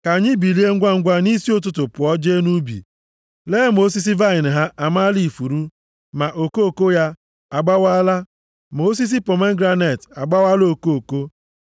Ka anyị bilie ngwangwa nʼisi ụtụtụ pụọ jee nʼubi lee ma osisi vaịnị ha amaala ifuru, ma okoko ya agbawaala, ma osisi pomegranet agbawaala okoko. Nʼebe ahụ ka m ga-egosi gị ịhụnanya m.